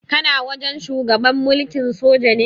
Kana wajen shugaban mulkin soja ne?